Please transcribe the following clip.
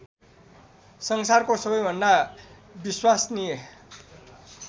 संचारको सबैभन्दा विश्वसनीय